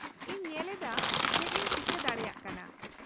-ᱤᱧ ᱧᱮᱞᱮᱫᱟ ᱪᱮᱫ ᱤᱧ ᱪᱤᱠᱟᱹ ᱫᱟᱲᱮᱭᱟᱜ ᱠᱟᱱᱟ ᱾